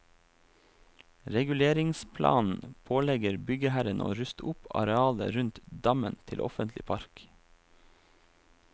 Reguleringsplanen pålegger byggherren å ruste opp arealet rundt dammen til offentlig park.